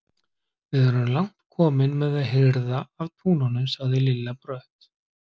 Við erum langt komin með að hirða af túnunum, sagði Lilla brött.